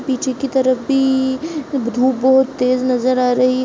पीछे के तरफ भी धूप बहोत तेज नजर आ रही --